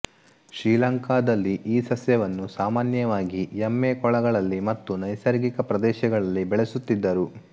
ಶ್ರೀಲಂಕಾದಲ್ಲಿ ಈ ಸಸ್ಯವನ್ನು ಸಾಮಾನ್ಯವಾಗಿ ಎಮ್ಮೆ ಕೊಳಗಳಲ್ಲಿ ಮತ್ತು ನೈಸರ್ಗಿಕ ಪ್ರದೇಶಗಳಲ್ಲಿ ಬೆಳೆಯುತ್ತಿದ್ದರು